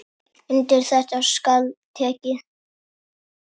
Undir þetta skal tekið.